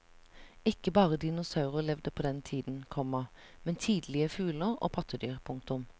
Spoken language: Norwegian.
Ikke bare dinosaurer levde på den tiden, komma men tidlige fugler og pattedyr. punktum